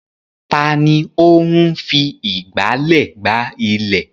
Ta ni ó ń fi ìgbálẹ̀ gbá ilẹ̀?